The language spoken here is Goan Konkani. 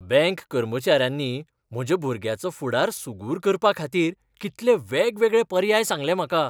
बँक कर्मचाऱ्यांनी म्हज्या भुरग्याचो फुडार सुगूर करपाखातीर कितले वेगवेगळे पर्याय सांगले म्हाका.